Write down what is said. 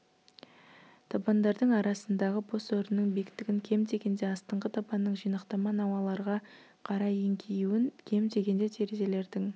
табандардың арасындағы бос орынның биіктігін кем дегенде астыңғы табанның жинақтама науаларға қарай еңкеюін кем дегенде терезелердің